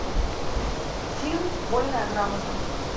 фильм вольная грамота